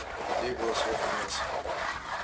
у людей было свежее мясо